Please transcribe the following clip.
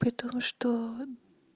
при том что